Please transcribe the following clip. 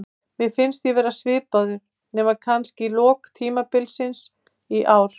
Mér fannst ég vera svipaður, nema kannski í lok tímabils í ár.